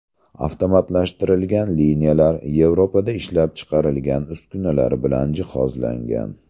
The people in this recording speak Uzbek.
Avtomatlashtirilgan liniyalar Yevropada ishlab chiqarilgan uskunalar bilan jihozlangan.